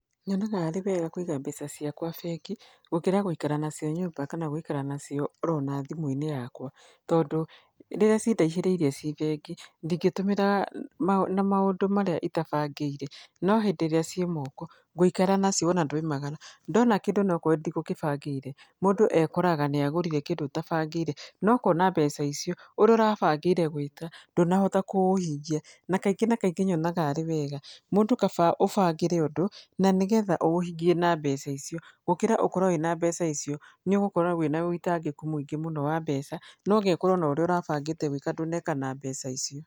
Nyonaga arĩ wega kũiga mbeca ciakwa bengi, gũkĩra gũikara nacio nyũmba kana gũikara nacio oro ona thimũ-inĩ yakwa. Tondũ rĩrĩa cindaihĩrĩirie ci bengi, ndingĩtũmĩra na maũndũ marĩa itabangĩire. No hĩndĩ ĩrĩa ciĩ moko, ngũikara nacio wona ndaumagara, ndona kũndũ onokorwo ndigũgĩbangĩire, mũndũ ekoraga nĩ agũrire kĩndũ ũtabangĩire. Na ũkona mbeca icio, ũrĩa ũrabangĩire gwĩka, ndũnahota kũũhingia. Na kaingĩ na kaingĩ nyonaga arĩ wega, mũndũ kaba ũbangĩre ũndũ, na nĩgetha ũũhingie na mbeca icio, gũkĩra ũkorwo wĩna mbeca icio, nĩ ũgũkorwo na wĩitangĩku mũingĩ wa mbeca, Na ũgekora ona ũrĩa ũrabangĩte gwĩka ndũneka na mbeca icio.